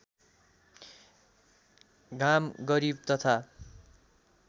घाम गरिब तथा